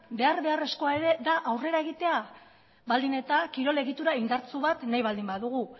behar beharrezkoa ere da aurrera egitea baldin eta kirol egitura indartsu bat nahi baldin badugu